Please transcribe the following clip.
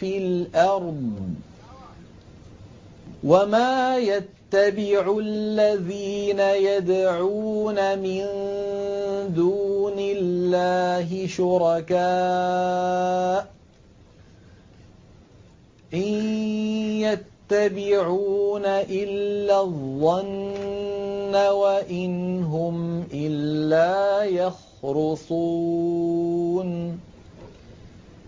فِي الْأَرْضِ ۗ وَمَا يَتَّبِعُ الَّذِينَ يَدْعُونَ مِن دُونِ اللَّهِ شُرَكَاءَ ۚ إِن يَتَّبِعُونَ إِلَّا الظَّنَّ وَإِنْ هُمْ إِلَّا يَخْرُصُونَ